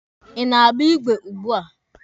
Ị na-agba igwe ugbua?